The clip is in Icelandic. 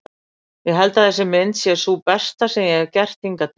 Ég held að þessi mynd sé sú besta sem ég hefi gert hingað til.